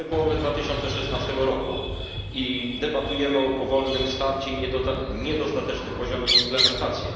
Mamy połowę 2016 roku i debatujemy o powolnym starcie i niedostatecznym poziomie implementacji.